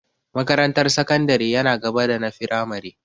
Makarantar sakandare yana gaba da na firamare.